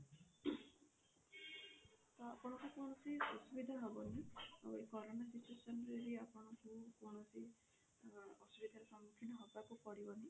ତ ଆପଣଙ୍କୁ କୌଣସି ଅସୁବିଧା ହବନି ଆଉ ଏ କରୋନା situation ରେ ବି ଆପଣଙ୍କୁ କୌଣସି ଅସୁବିଧା ର ସମୁଖୀନ ହବାକୁ ପଡିବନି।